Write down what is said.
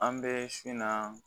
An bɛ si na